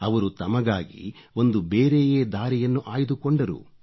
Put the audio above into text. ಅವರು ತಮಗಾಗಿ ಒಂದು ಬೇರೆಯೇ ದಾರಿಯನ್ನು ಆಯ್ದುಕೊಂಡರು